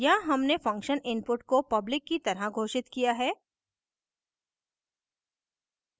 यहाँ हमने function input को public की तरह घोषित किया है